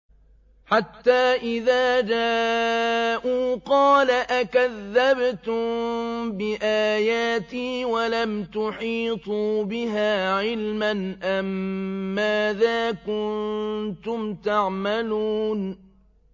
حَتَّىٰ إِذَا جَاءُوا قَالَ أَكَذَّبْتُم بِآيَاتِي وَلَمْ تُحِيطُوا بِهَا عِلْمًا أَمَّاذَا كُنتُمْ تَعْمَلُونَ